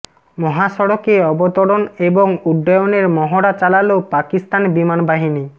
মহাসড়কে অবতরণ এবং উড্ডয়নের মহড়া চালাল পাকিস্তান বিমান বাহিনী